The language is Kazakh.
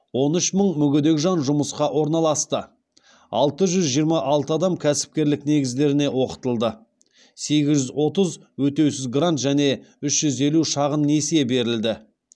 он үш мың мүгедек жан жұмысқа орналасты алты жүз жиырма алты адам кәсіпкерлік негіздеріне оқытылды сегіз жүз отыз өтеусіз грант және үш жүз елу шағын несие берілді